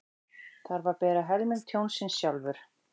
Þarf að bera helming tjónsins sjálfur